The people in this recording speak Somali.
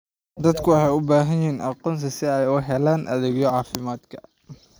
Dadku waxay u baahan yihiin aqoonsi si ay u helaan adeegyada caafimaadka.